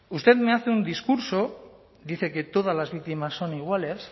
usted me hace un discurso dice que todas las víctimas son iguales